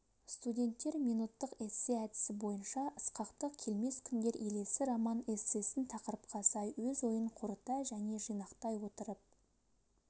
студенттер минуттық эссе әдісі бойынша ысқақтың келмес күндер елесі роман-эссесін тақырыпқа сай өз ойын қорыта және жинақтай отырып